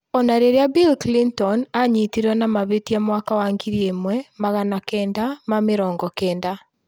Ona rĩrĩa Bill Clinton anyitirwe na mahĩtia mwaka wa ngiri ĩmwe magana kenda ma mĩrongo kenda